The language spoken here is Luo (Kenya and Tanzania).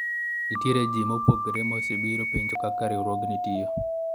nitiere jii ma opogore ma osebiro penjo kaka riwruogni tiyo